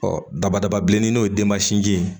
dabadaba bilenni n'o ye denmasinin ye